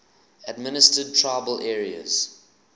administered tribal areas